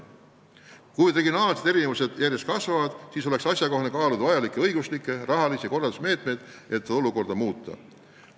Kui regionaalsed erinevused järjest kasvavad, siis oleks asjakohane kaaluda õiguslikke ja rahalisi korraldusmeetmeid, et olukorda muuta.